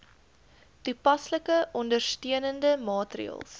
toepaslike ondersteunende maatreëls